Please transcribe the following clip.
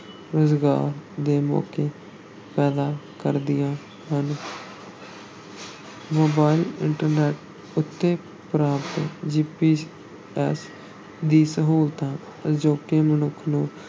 ਰੁਜ਼ਗਾਰ ਦੇ ਮੌਕੇ ਪੈਦਾ ਕਰਦੀਆਂ ਹਨ ਮੋਬਾਈਲ internet ਉੱਤੇ ਪ੍ਰਾਪਤ GPS ਦੀ ਸਹੂਲਤ ਅਜੋਕੇ ਮਨੁੱਖ ਨੂੰ